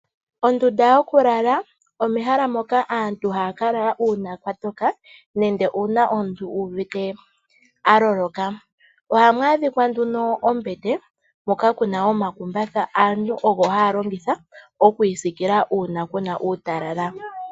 Ondunda yokulala oyo ehala moka aantu haya ka lala uuna kwa toka nenge uuna omuntu uvite aloloka. Ohamu adhika ombete hoka ku na omakumbatha ngoka haga longithwa okwiisikila uuna ku na uutalala.